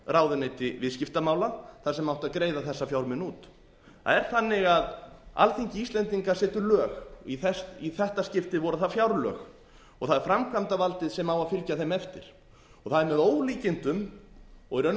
ráðuneyti viðskiptamála þar sem átti að greiða þessa fjármuni út það er þannig að alþingi íslendinga setur lög og í þetta skiptið voru það fjárlög það er framkvæmdarvaldið sem á að fylgja þeim eftir það er með ólíkindum og í raun og